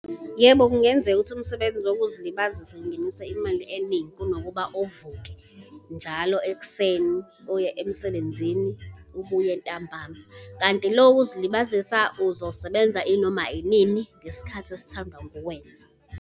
Yebo, kungenzeka ukuthi umsebenzi wokuzilibazisa ungenise imali eningi, kunokuba uvuke njalo ekuseni uye emsebenzini ubuye ntambama. Kanti lo wokuzilibazisa uzosebenza inoma inini ngesikhathi esithandwa nguwena.